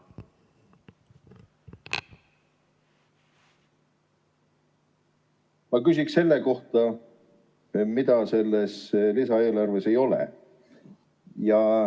Ma küsin selle kohta, mida selles lisaeelarves ei ole.